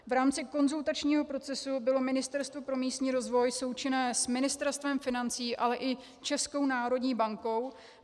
V rámci konzultačního procesu bylo Ministerstvo pro místní rozvoj součinné s Ministerstvem financí, ale i Českou národní bankou.